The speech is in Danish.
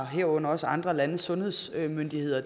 herunder også andre landes sundhedsmyndigheder